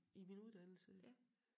I min uddannelse